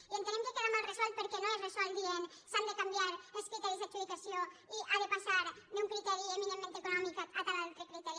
i entenem que queda mal resolt perquè no es resol dient s’han de canviar els criteris d’adjudicació i ha de passar d’un criteri eminentment econòmic a tal altre criteri